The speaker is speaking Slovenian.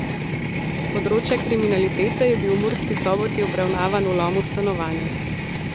S področja kriminalitete je bil v Murski Soboti obravnavan vlom v stanovanje.